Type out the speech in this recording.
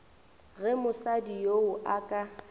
ge mosadi yoo a ka